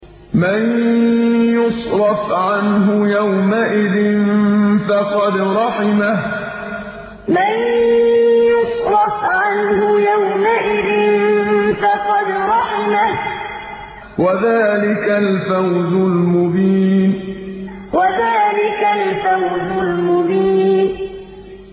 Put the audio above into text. مَّن يُصْرَفْ عَنْهُ يَوْمَئِذٍ فَقَدْ رَحِمَهُ ۚ وَذَٰلِكَ الْفَوْزُ الْمُبِينُ مَّن يُصْرَفْ عَنْهُ يَوْمَئِذٍ فَقَدْ رَحِمَهُ ۚ وَذَٰلِكَ الْفَوْزُ الْمُبِينُ